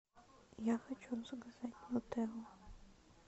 я хочу заказать нутеллу